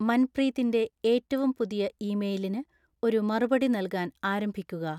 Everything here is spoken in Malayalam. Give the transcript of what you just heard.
മൻപ്രീതിന്റെ ഏറ്റവും പുതിയ ഇമെയിലിന് ഒരു മറുപടി നല്കാൻ ആരംഭിക്കുക